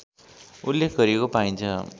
उल्लेख गरिएको पाइन्छ